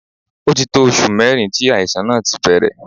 Ó ti tó oṣù mẹ́rin tí àìsàn náà ti bẹ̀rẹ̀.